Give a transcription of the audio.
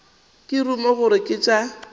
ka ruma gore ke tša